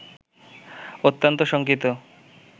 অত্যন্ত শঙ্কিত